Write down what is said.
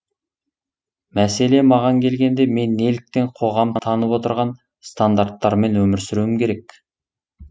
мәселе маған келгенде мен неліктен қоғам таңып отырған стандарттармен өмір сүруім керек